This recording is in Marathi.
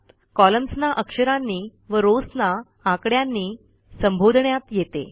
कॉलम्न्स ना अक्षरांनी व रॉव्स ना आकड्यांनी संबोधण्यात येते